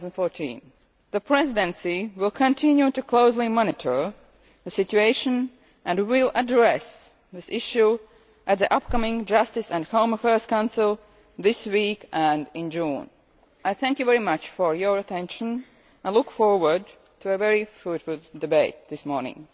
October 2014. The Presidency will continue to closely monitor the situation and will address this issue at the upcoming Justice and Home Affairs Council this week and in June. I thank you very much for your attention and look forward to a very fruitful debate this morning.